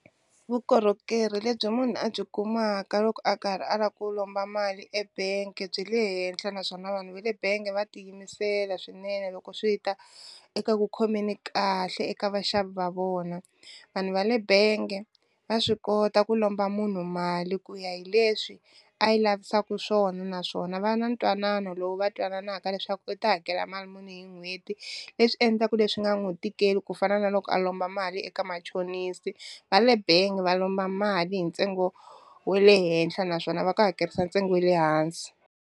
Vukorhokeri lebyi munhu a byi kumaka loko a karhi a lava ku lomba mali ebank-e byi le henhla naswona vanhu va le benge va tiyimisela swinene loko swi ta eka ku khomeni kahle eka vaxavi va vona, vanhu va le benge va swi kota ku lomba munhu mali ku ya hi leswi a yi lavisaku swona naswona va na ntwanano lowu va twananaka leswaku u ta hakela mali muni hi n'hweti leswi endlaka leswi nga n'wi tikeli ku fana na loko a lomba mali eka machonisi, va le bengi va lomba mali hi ntsengo wa le henhla naswona va ku hakerisa ntsengo wa le hansi.